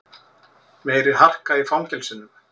Meiri harka í fangelsunum